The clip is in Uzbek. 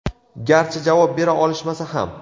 garchi javob bera olishmasa ham.